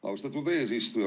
Austatud eesistuja!